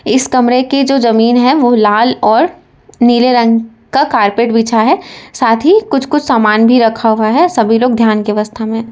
इस कमरे के जो जमीन है वो लाल और नीले रंग का कारपेट बिछा है साथ ही कुछ कुछ सामान भी रखा हुआ है सभी लोग ध्यान के अवस्था में--